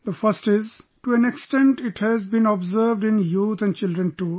The first is to an extent, it has been observed in youth and children too